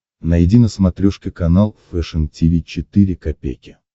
найди на смотрешке канал фэшн ти ви четыре ка